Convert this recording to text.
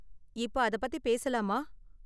இப்ப அத பத்தி பேசலாமா?